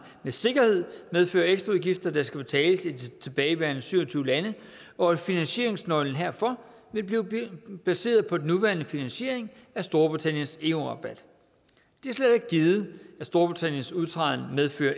med sikkerhed vil medføre ekstraudgifter der skal betales af de tilbageværende syv og tyve lande og at finansieringsnøglen herfor vil blive baseret på den nuværende finansiering af storbritanniens eu rabat det er slet ikke givet at storbritanniens udtræden vil medføre